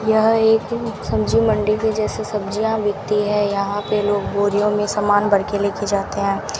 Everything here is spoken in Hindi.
यह एक सब्जी मंडी के जैसे सब्जियां बिकती है यहां पे लोग बोरियों में सामान भर के ले के जाते हैं।